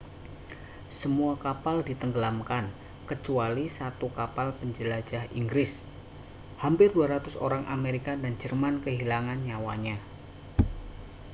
semua kapal ditenggelamkan kecuali satu kapal penjelajah inggris hampir 200 orang amerika dan jerman kehilangan nyawanya